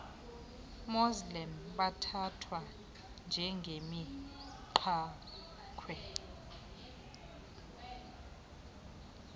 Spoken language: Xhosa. muslim bathathwa njengemigqakhwe